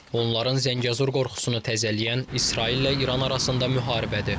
Onların Zəngəzur qorxusunu təzələyən İsraillə İran arasında müharibədir.